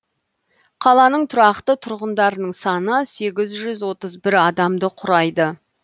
қаланың тұрақты тұрғындарының саны сегіз жүз отыз бір адамды құрайды